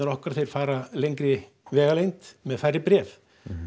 okkar þeir fara lengri vegalengd með færri bréf